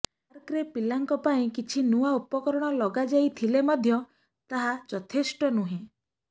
ପାର୍କରେ ପିଲାଙ୍କ ପାଇଁ କିଛି ନୂଆ ଉପକରଣ ଲାଗାଯାଇଥିଲେ ମଧ୍ୟ ତାହା ଯଥେଷ୍ଟ ନୁହେଁ